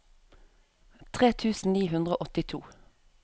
tre tusen ni hundre og åttito